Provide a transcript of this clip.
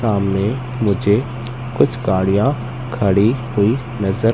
सामने नीचे कुछ गाड़ियां खड़ी हुई नजर--